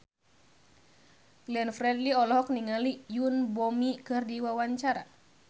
Glenn Fredly olohok ningali Yoon Bomi keur diwawancara